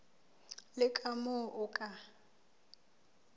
le ka moo o ka